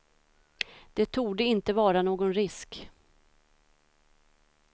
Det torde inte vara någon risk.